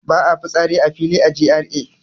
Ba a fitsari a fili a GRA